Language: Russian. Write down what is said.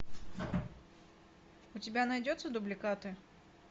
у тебя найдется дубликаты